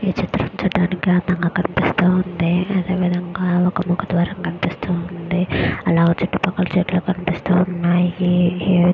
ఈ చిత్రం చూడడానికి అందంగా కనిపిస్తుంది అదే విధంగా ఒక ముఖ ద్వారం కనిపిస్తోంది. ఆ చుట్టుపక్కల చెట్లు కనిపిస్తున్నాయి.